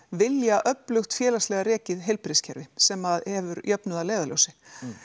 vilja öflugt félagslega rekið heilbrigðiskerfi sem að hefur jöfnuð að leiðarljósi